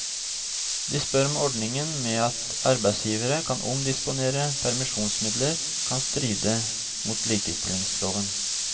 De spør om ordningen med at arbeidsgivere kan omdisponere permisjonsmidler kan stride mot likestillingsloven.